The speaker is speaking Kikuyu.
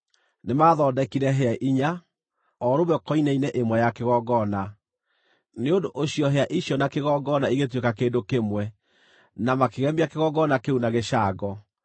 Nĩmathondekire hĩa inya, o rũmwe koine-inĩ ĩmwe ya kĩgongona, nĩ ũndũ ũcio hĩa icio na kĩgongona igĩtuĩka kĩndũ kĩmwe, na makĩgemia kĩgongona kĩu na gĩcango.